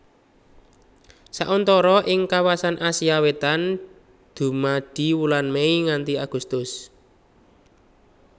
Sauntara ing kawasan Asia Wétan dumadi wulan Mei nganti Agustus